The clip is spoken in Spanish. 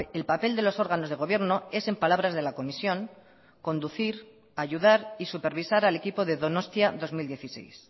el papel de los órganos de gobierno es en palabras de la comisión conducir ayudar y supervisar al equipo de donostia dos mil dieciséis